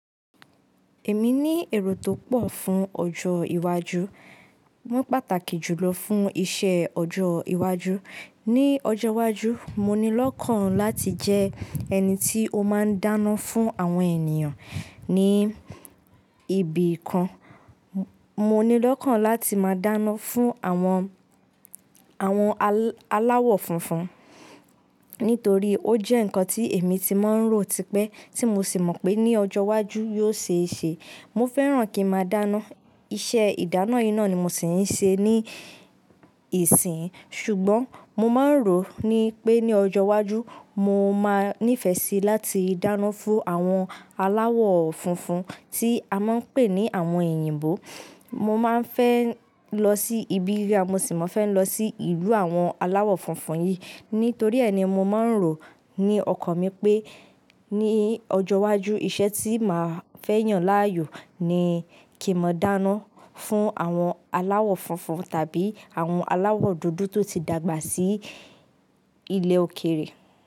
Èmi ní èrò tó pọ̀ fún ọjọ́ iwájú. Wọ́n pàtàkì jùlọ fún iṣẹ́ ọjọ́ iwájú. Ni ọjọ́ iwájú, mo ní lọ́kàn láti jẹ ẹni tí ó máa ń dáná fún àwọn ènìyàn ní ibì kan. Mo ní lọ́kàn láti máa dáná fún àwọn, àwọn aláwọ̀ funfun nítorí ó jẹ́ ǹkan tí èmi ti máa ń rò tipẹ́ tí mo sì mọ̀ pé ní ọjọ́ iwájú yóò ṣe é ṣe. Mo fẹ́ràn kí n máa dáná. Iṣẹ́ ìdáná yìí náà ni mo sì ń ṣe níìsín. Ṣùgbọ́n mo máa ń rò ní pé ní ọjọ́ iwájú mo máa ní ìfẹ́ síi láti dáná fún àwọn aláwọ̀ funfun tí a máa ń pè ní àwọn òyìnbó. Mo má a ń fẹ́ lọ sí ibi ríra mo sì máa fẹ́ lọ sí ìlú àwọn aláwọ̀ funfun yìí. Nítorí ẹni mo máa ń rò ní ọkàn mi pé ní ọjọ́ iwájú iṣẹ́ tí màá fẹ́ yàn láàyò ni kí n máa dáná fún àwọn aláwọ̀ funfun tàbí àwọn aláwọ̀ dúdú tó ti dàgbà sí ilẹ̀ òkèèrè.